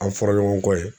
An fɔra ɲɔgɔn kɔ yen